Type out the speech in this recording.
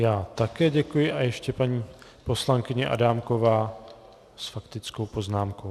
Já také děkuji a ještě paní poslankyně Adámková s faktickou poznámkou.